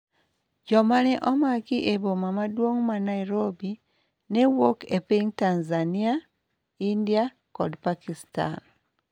Jomane omaki eboma maduong' ma Nairobi ne wuok e piny Tanzania, India kod Pakistan